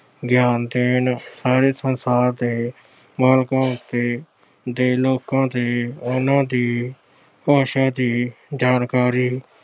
ਗਿਆਨ ਦੇਣ, ਸਾਰੇ ਸੰਸਾਰ ਦੇ ਲੋਕਾਂ ਦੇ ਤੇ ਉਹਨਾਂ ਦੀ ਭਾਸ਼ਾ ਦੀ ਜਾਣਕਾਰੀ